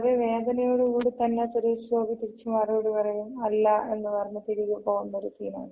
അപ്പൊ വളരെ വേദനയോട് കൂടി തന്നെ സുരേഷ് ഗോപി തിരിച്ച് മറുപടി പറയും. അല്ലാ എന്ന് പറഞ്ഞ് തിരികെ പോകുന്ന ഒര് സീനാണ്.